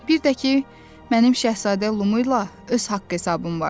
Bir də ki, mənim şahzadə Lumu ilə öz haqq-hesabım var.